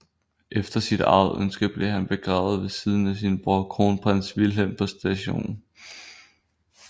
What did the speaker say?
Efter sit eget ønske blev han begravet ved siden af sin bror Kronprins Wilhelm på St